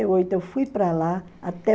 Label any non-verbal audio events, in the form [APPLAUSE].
[UNINTELLIGIBLE] eu fui para lá até